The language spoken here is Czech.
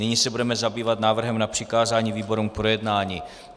Nyní se budeme zabývat návrhem na přikázání výborům k projednání.